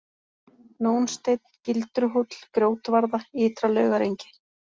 Nónsteinn, Gildruhóll, Grjótvarða, Ytra-Laugarengi